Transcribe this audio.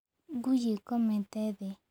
Ngui ĩkomete thĩ.